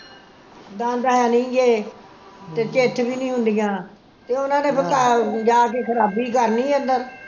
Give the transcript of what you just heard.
ਦੰਦ ਹੈਨੀ ਗੇ ਤੇ ਚਿੱਥ ਵੀ ਨੀ ਹੁੰਦੀਆਂ ਤੇ ਉਨ੍ਹਾਂ ਨੇ ਜਾ ਕੇ ਖਰਾਬੀ ਕਰਨੀ ਅੰਦਰ